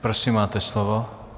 Prosím, máte slovo.